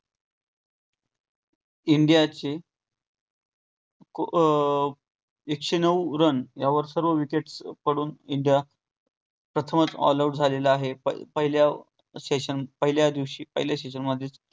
इंडियाचे अं एकशे नऊ run यावर सर्व wickets पडून इंडिया प्रथमच all out झालेले आहेत. पहिल्या session पहिल्या दिवशी पहिल्या session मधे